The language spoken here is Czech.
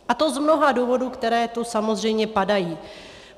A to z mnoha důvodů, které tu samozřejmě padají.